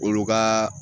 Olu ka